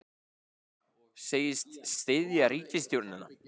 Segist styðja ríkisstjórnina